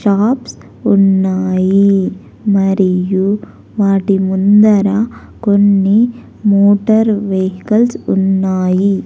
Shops ఉన్నాయి మరియు వాటి ముందర కొన్ని మోటార్ వెహికల్స్ ఉన్నాయి.